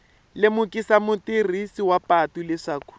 lemukisa mutirhisi wa patu leswaku